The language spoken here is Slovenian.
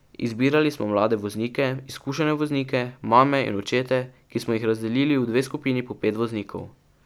Izbirali smo mlade voznike, izkušene voznike, mame in očete, ki smo jih razdelili v dve skupini po pet voznikov.